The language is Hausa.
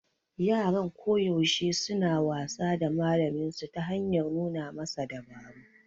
Yaran koyaushe suna wasa da malaminsu ta hanyar nuna masa dabaru